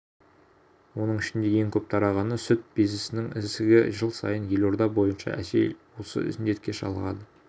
оның ішінде ең көп тарағаны сүт безінің ісігі жыл сайын елорда бойынша әйел осы індетке шалдығады